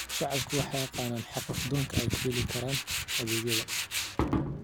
Shacabku waxay yaqaaniin xuquuqdooda ay ku heli karaan adeegyada.